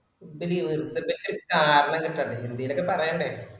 ന്തലെ വെർതെന്തൊക്കെ എന്തേലും ഒക്കെ കാരണം കിട്ടണ്ടേ എന്തേലും ഒക്കെ പറയണ്ടേ